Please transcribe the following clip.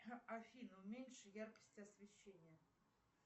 афина уменьши яркость освещения